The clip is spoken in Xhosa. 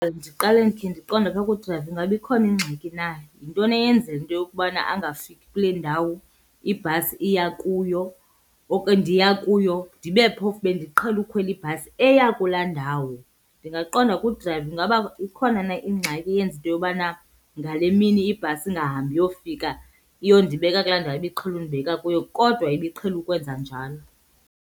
Ndiqale ndikhe ndiqonde apha kudrayiva ingaba ikhona ingxaki na. Yintoni eyenzela into yokubana angafiki kule ndawo ibhasi iya kuyo ndiya kuyo, ndibe phofu bendiqhele ukhwela ibhasi eya kulaa ndawo? Ndingaqonda kudrayiva ingaba ikhona na ingxaki eyenza into yobana ngale mini ibhasi ingahambi iyofika iyondibeka kulaa ndawo ibiqhele undibeka kuyo kodwa ibiqhele ukwenza njalo.